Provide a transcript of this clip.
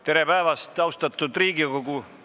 Tere päevast, austatud Riigikogu!